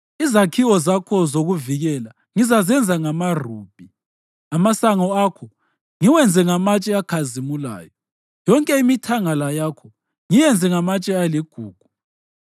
Izakhiwo zakho zokuvikela ngizazenza ngamarubhi, amasango akho ngiwenze ngamatshe akhazimulayo, yonke imithangala yakho ngiyenze ngamatshe aligugu.